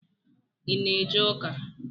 I na-eje uka?